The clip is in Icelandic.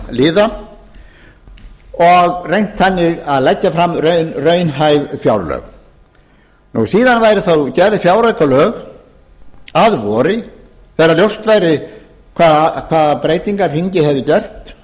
verkefnaliða og reynt þannig að leggja fram fjárlög síðan væru þá gerð fjáraukalög að vori þegar ljóst væri hvaða breytingar þingið hefði gert